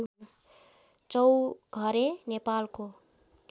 चौघरे नेपालको